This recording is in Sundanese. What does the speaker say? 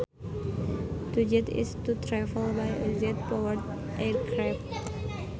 To jet is to travel by a jet powered aircraft